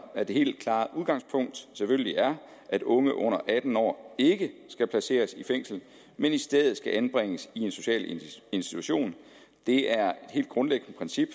at det helt klare udgangspunkt selvfølgelig er at unge under atten år ikke skal placeres i fængsler men i stedet skal anbringes i sociale institutioner det er et helt grundlæggende princip